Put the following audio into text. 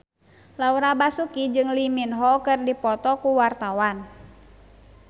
Laura Basuki jeung Lee Min Ho keur dipoto ku wartawan